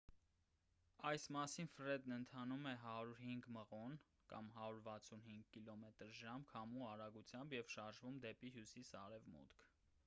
այս պահին ֆրեդն ընթանում է 105 մղոն 165 կմ/ժ քամու արագությամբ և շարժվում է դեպի հյուսիս-արևմուտք։